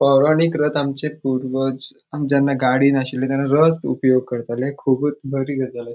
पौराणिक रथ आमचे पूर्वज जेन्ना गाड़ी नाशिल्ले तेन्हा रथ उपयोग कर्ताले कुबुत बरी गजाल --